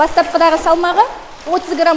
бастапқыда салмағы отыз грамм